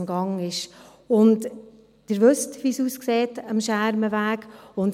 Sie wissen, wie es am Schermenweg aussieht.